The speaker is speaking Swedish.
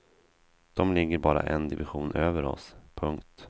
De ligger bara en division över oss. punkt